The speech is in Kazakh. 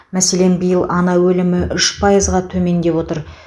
мәселен биыл ана өлімі үш пайызға төмендеп отыр